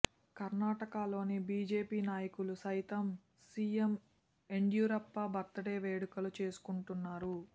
కర్ణాటకలోని బీజేపీ నాయకులు సైతం సీఎం యడియూరప్ప బర్త్ డే వేడుకులు చేసుకుంటున్నారు